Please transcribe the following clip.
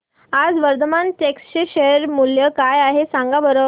आज वर्धमान टेक्स्ट चे शेअर मूल्य काय आहे सांगा बरं